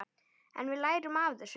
En við lærum af þessu.